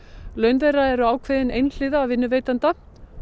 laun þeirra eru ákveðin einhliða af vinnuveitanda